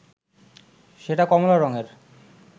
সেটা কমলা রংয়ের